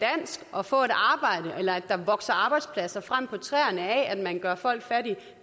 og få et arbejde eller at der vokser arbejdspladser frem på træerne af at man gør folk fattige